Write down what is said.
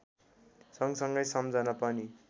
सगँसँगै सम्झन पनि